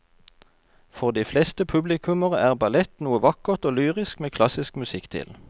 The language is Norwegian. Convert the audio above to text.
For de fleste publikummere er ballett noe vakkert og lyrisk med klassisk musikk til.